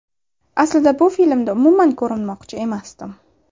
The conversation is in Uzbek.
Aslida bu filmda umuman ko‘rinmoqchi emasdim”.